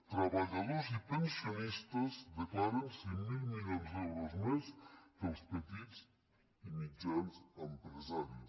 treballadors i pensionistes declaren cinc mil milions d’euros més que els petits i mitjans empresaris